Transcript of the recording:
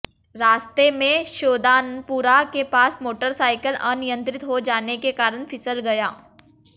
रास्ते में श्योदानपुरा के पास मोटरसाइकिल अनियंत्रित हो जाने के कारण फिसल गया